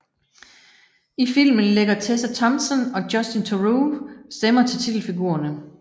I filmen lægger Tessa Thompson og Justin Theroux stemmer til titelfigurerne